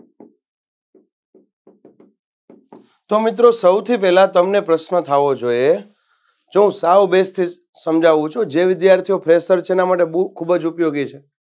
તો મિત્રો સૌથી પહેલા તો તમને પ્રશ્ન થાવો જોઈએ કે જુઓ સાવ base થી સમજાવું છું જે વિધાર્થીઓ fresher છે એના માટે બઉ ખુબજ ઉપયોગી છે.